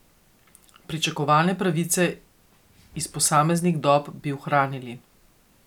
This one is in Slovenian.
Pričakovane pravice iz posameznih dob bi ohranili.